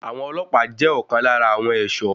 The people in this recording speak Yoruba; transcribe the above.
Àwọn ọlọ́pàá jẹ́ ọ̀kan lára àwọn ẹ̀ṣọ́.